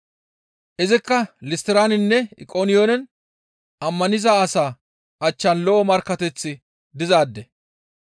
Izikka Listtiraninne Iqoniyoonen ammaniza asaa achchan lo7o markkateththi dizaade.